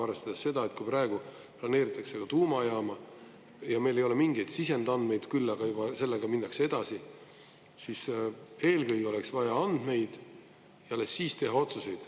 Arvestades seda, et kui praegu planeeritakse ka tuumajaama ja meil ei ole mingeid sisendandmeid, küll aga juba sellega minnakse edasi, siis eelkõige oleks vaja andmeid ja alles siis teha otsuseid.